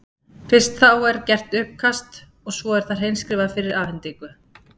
Fyrst er þá gert uppkast og svo er það hreinskrifað fyrir afhendingu.